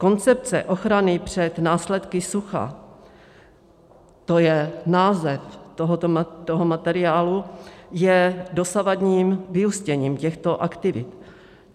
Koncepce ochrany před následky sucha - to je název tohoto materiálu - je dosavadním vyústěním těchto aktivit.